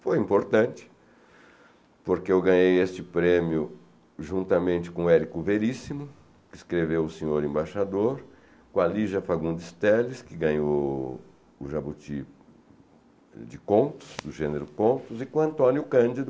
Foi importante porque eu ganhei este prêmio juntamente com o Érico Veríssimo, que escreveu O Senhor Embaixador, com a Lígia Fagundes Telles, que ganhou o Jabuti de contos, do gênero contos, e com o Antônio Cândido,